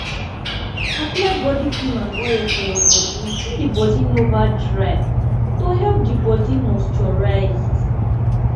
apply body cream and oil for your bodi when di bodi nova dry to keep di bodi moisturised